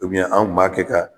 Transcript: an kunb'a kɛ ka.